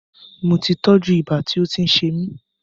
Moti tọ́jú ibà tí ó ń ṣe mí